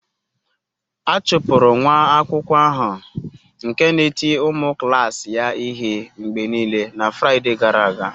A chụpụrụ nwa akwụkwọ ahụ nke na-eti ụmụ klas ya ihe mgbe niile na Fraịde gara aga.